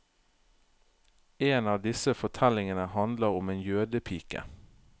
En av disse fortellingene handler om en jødepike.